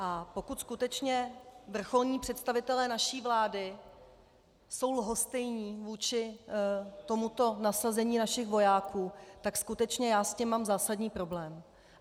A pokud skutečně vrcholní představitelé naší vlády jsou lhostejní vůči tomuto nasazení našich vojáků, tak skutečně já s tím mám zásadní problém.